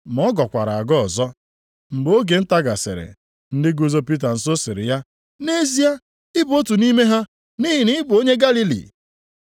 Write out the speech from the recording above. Ma ọ gọkwara agọ ọzọ. Mgbe oge nta gasịrị, ndị guzo Pita nso sịrị ya, “Nʼezie, ị bụ otu nʼime ha, nʼihi na ị bụ onye Galili.”